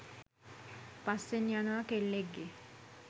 පස්සෙන් යනවා කෙල්ලෙක්ගේ